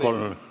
Palun!